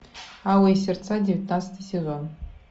алые сердца девятнадцатый сезон